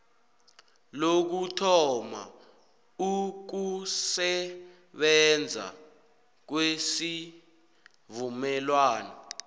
lokuthoma ukusebenza kwesivumelwano